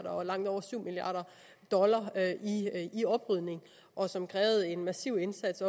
og langt over syv milliard dollar i oprydning og som krævede en massiv indsats